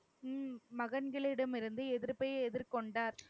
உம் மகன்களிடம் இருந்து எதிர்ப்பை எதிர்கொண்டார்.